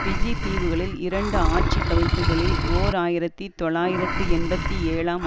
PG தீவுகளில் இரண்டு ஆட்சி கவிழ்ப்புக்களில் ஓர் ஆயிரத்தி தொள்ளாயிரத்தி எண்பத்தி ஏழாம்